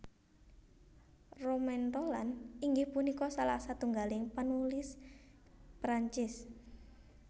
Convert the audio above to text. Romain Rolland inggih punika salah satunggaling penulis Perancis